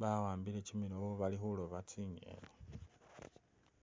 baambile chimilobo balikholoba tsi'ngeni